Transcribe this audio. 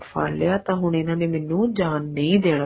ਫੜ ਲਿਆ ਤਾਂ ਹੁਣ ਇਹਨਾ ਨੇ ਮੈਨੂੰ ਜਾਣ ਨਹੀਂ ਦੇਣਾ